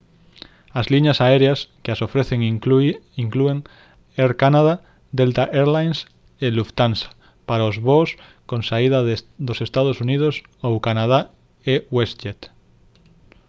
as liñas aéreas que as ofrecen inclúen air canada delta air lines e lufthansa para os voos con saída dos ee uu ou canadá e westjet